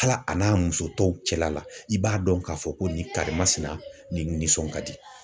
Hal'a n'a musotɔw cɛla la ,i b'a dɔn k'a fɔ ko nin karimasina nin nisɔn ka di.